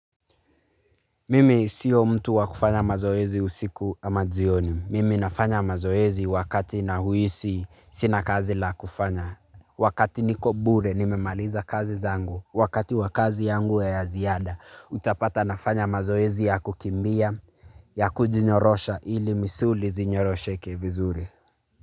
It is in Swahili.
Mimi siyo mtu wa kufanya mazoezi usiku ama jioni. Mimi nafanya mazoezi wakati nahwisi sina kazi la kufanya. Wakati niko bure nimemaliza kazi zangu. Wakati wa kazi yangu ya ya ziada, utapata nafanya mazoezi ya kukimbia, ya kujinyorosha ili misuli zinyorosheke vizuri.